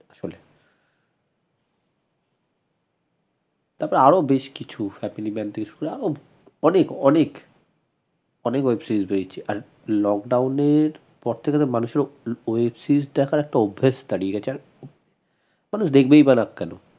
তারপর আরো বেশকিছু অনেক অনেক অনেক web series পেয়েছে আর lockdown এর পর থেকে তো মানুষের web series দেখার একটা অভ্যাস দাড়িয়ে গেছে আর মানুষ দেখবেই বা না কেন?